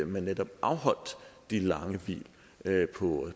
man netop afholdt de lange hvil